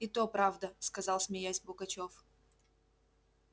и то правда сказал смеясь пугачёв